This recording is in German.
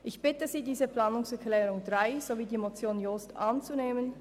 Ich bitte Sie, die Planungserklärung 3 sowie die Motion Jost anzunehmen.